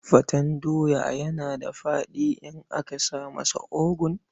Faten doya yana da faɗi in aka sa masa ogu.